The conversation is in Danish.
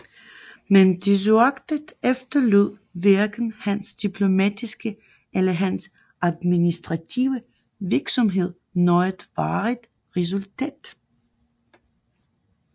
Men desuagtet efterlod hverken hans diplomatiske eller hans administrative virksomhed noget varigt resultat